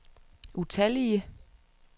utallige